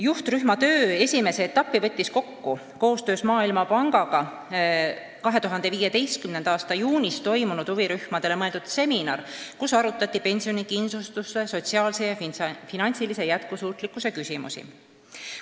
Juhtrühma töö esimese etapi võttis kokku koostöös Maailmapangaga 2015. aasta juunis peetud huvirühmadele mõeldud seminar, kus arutati pensionikindlustuse sotsiaalse ja finantsilise jätkusuutlikkuse küsimusi.